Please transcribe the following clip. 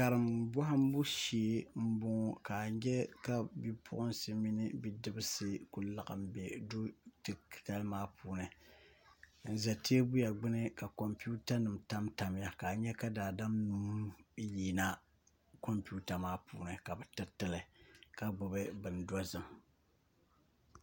Karim bɔhimbu shee m-bɔŋɔ ka a nya ka bipuɣinsi mini bidibisi ku laɣim m-be du’titali maa puuni n ʒe teebuya gbuni ka kɔmputanima tamtamya ka a nya ka daadam nua yina kɔmputa maa puuni ka bɛ tiri ti li ka gbubi bin’dɔzim